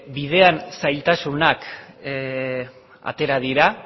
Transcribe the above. bidean zailtasunak atera dira